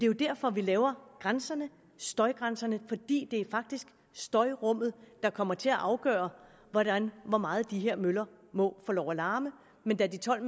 jo derfor vi laver støjgrænserne det er faktisk støjrummet der kommer til at afgøre hvor meget de her møller må få lov at larme men da de tolv